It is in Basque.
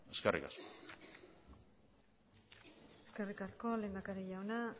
eskerrik asko eskerrik asko lehendakari jauna